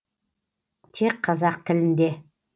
тек қазақ тілінде